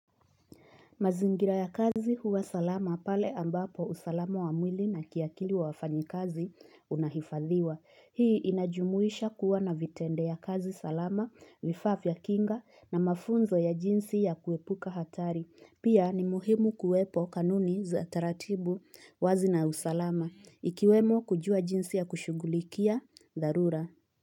Mazingira ya kazi huwa salama pale ambapo usalama wa mwili na kiakili wa wafanyikazi unahifadhiwa. Hii inajumuisha kuwa na vitendea kazi salama, vifaa fya kinga na mafunzo ya jinsi ya kuepuka hatari. Pia ni muhimu kuwepo kanuni za taratibu wazi na usalama. Ikiwemo kujua jinsi ya kushugulikia, dharura.